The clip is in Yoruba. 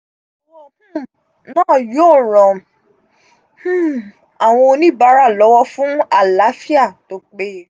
owó um náà yóò ràn um àwọn oníbàárà lọ́wọ́ fún àlááfíà tó péye